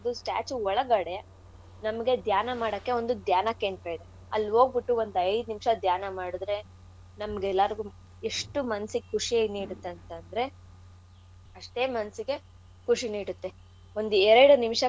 Statue ಒಳಗಡೆ ನಮ್ಗೆ ದ್ಯಾನ ಮಾಡಕೆ ಒಂದು ದ್ಯಾನ ಕೇಂದ್ರ ಇದೆ. ಅಲ್ ಹೋಗ್ಬಿಟ್ಟು ಒಂದ್ ಐದ್ ನಿಮ್ಶ ದ್ಯಾನ ಮಾಡುದ್ರೆ ನಮ್ಗೆಲ್ಲಾರ್ಗೂ ಎಷ್ಟು ಮನ್ಸಿಗ್ ಖುಷಿ ನೀಡುತ್ತಂತಂದ್ರೆ ಅಷ್ಟೇ ಮನ್ಸಿಗೆ ಖುಷಿ ನೀಡುತ್ತೆ ಒಂದ್ ಎರ್ಡ್ ನಿಮ್ಶ.